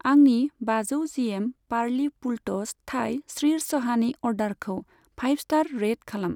आंनि बाजौ जिएम पारलि फुलट'स थाइ स्रिरचहानि अर्डारखौ फाइभ स्टार रेट खालाम।